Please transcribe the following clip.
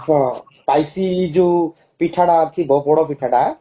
ହଁ spicy ଯୋଉ ପିଠା ଟା ଆସିବ ପୋଡପିଠା ଟା